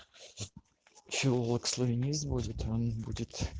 пчеловодство есть будет разбуди